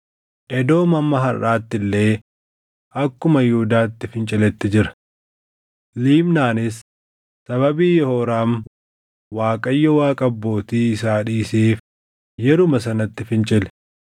Edoom hamma harʼaatti illee akkuma Yihuudaatti finciletti jira. Libnaanis sababii Yehooraam Waaqayyo Waaqa abbootii isaa dhiiseef yeruma sanatti fincile.